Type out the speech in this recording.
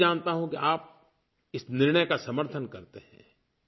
मैं ये भी जानता हूँ कि आप इस निर्णय का समर्थन करते हैं